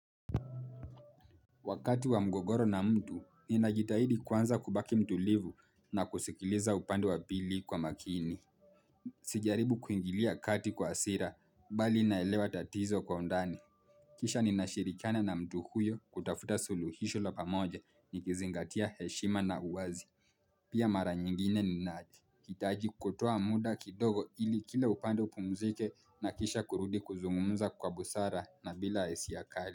Wakati wa mgogoro na mtu ni najitahidi kwanza kubaki mtulivu na kusikiliza upande wa pili kwa makini. Sijaribu kuingilia kati kwa hasira bali naelewa tatizo kwa undani. Kisha ninashirikiana na mtu huyo kutafuta suluhisho la pamoja ni kizingatia heshima na uwazi. Pia mara nyingine ninahitaji kutoa muda kidogo ili kila upande upumzike na kisha kurudi kuzungumza kwa busara na bila hisia kali.